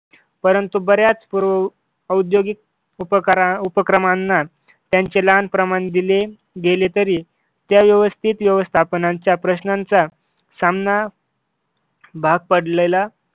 परंतु बऱ्याच पूर औद्योगिक उपकरा उपक्रमांना त्यांचे लहान प्रमाण दिले गेले तरी त्या व्यवस्थित व्यवस्थापनाच्या प्रश्नांचा सामना भाग पडलेला